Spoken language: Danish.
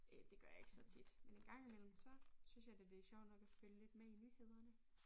Øh det gør jeg ikke så tit men en gang imellem så synes jeg da det sjovt nok at følge lidt med i nyhederne